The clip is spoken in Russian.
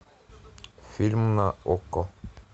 фильм на окко